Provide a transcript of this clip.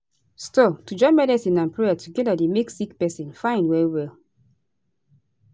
stop - to join medicine and prayer together dey make sick pesin fine well well